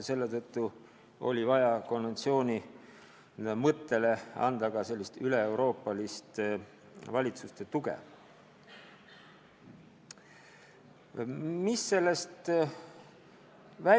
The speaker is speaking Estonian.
Selle tõttu oli vaja konventsiooni mõtet toetada ka üleeuroopalise valitsuste heakskiiduga.